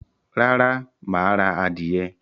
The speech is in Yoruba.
Rárá, máà ra adìyẹ